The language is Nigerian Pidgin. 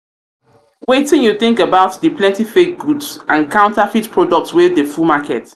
wetin you think about di plenty fake goods fake goods and counterfeit products wey dey full market?